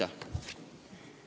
Aitäh!